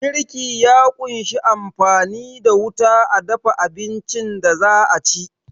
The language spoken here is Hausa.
Girki ya kunshi amfani da wuta a dafa abincin da za'a ci